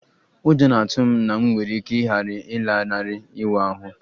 Ụjọ na-atụ m na m nwere ike ghara ịlanarị ịwa ahụ